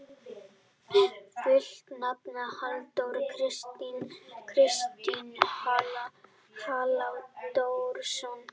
Fullt nafn: Halldór Kristinn Halldórsson.